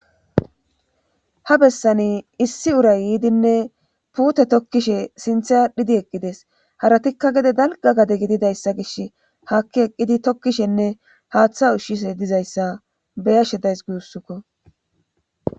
ha bessani issi uray yiidinne puute tokkishe sinthe adhidi eqqides haratikka gede dalga gade gididayssa gish haakki eqqidi tokkishenne haaththa ushshise dizayssa beyashe days guussukko